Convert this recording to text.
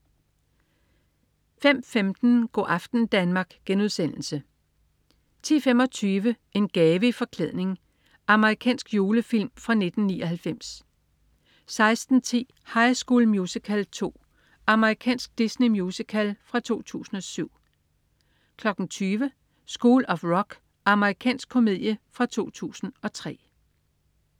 05.15 Go' aften Danmark* 10.25 En gave i forklædning. Amerikansk julefilm fra 1999 16.10 High School Musical 2. Amerikansk Disney-musical fra 2007 20.00 School of Rock. Amerikansk komedie fra 2003